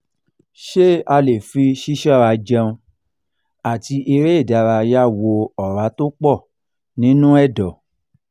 ṣé a lè fi sisora jẹún ati ere idaraya wo ora to po ninu edo?